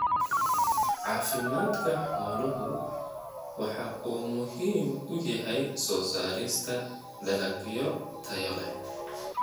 Caafimaadka xooluhu waxa uu muhiim u yahay soo saarista dalagyo tayo leh.